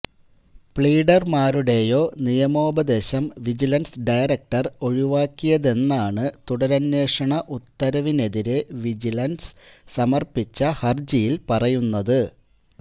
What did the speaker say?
പ്ലീഡര്മാരുടെയോ നിയമോപദേശം vigilance director ഒഴിവാക്കിയതെന്നാണ് തുടരന്വേഷണ ഉത്തരവിനെതിരെ വിജിലന്സ് സമര്പ്പിച്ച ഹര്ജിയില് പറയുന്നത്